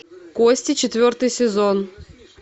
кости четвертый сезон